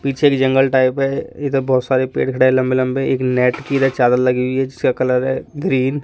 पीछे एक जंगल टाइप है इधर बहोत सारे पेड़ खड़े है लंबे लंबे एक नेट की इधर चादर लगी हुईं है जिसका कलर है ग्रीन --